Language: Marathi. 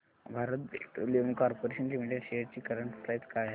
Bharat petroleum corporation limited shares ची करंट प्राइस काय आहे